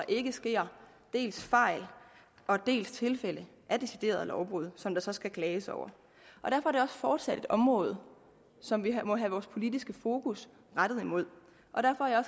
ikke sker dels fejl dels tilfælde af deciderede lovbrud som der så skal klages over derfor er det fortsat et område som vi må have vores politiske fokus rettet imod og derfor er